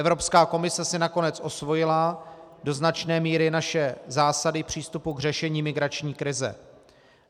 Evropská komise si nakonec osvojila do značné míry naše zásady přístupu k řešení migrační krize.